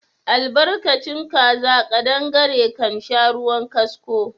Albarkacin kaza ƙadangare kansha ruwan kasko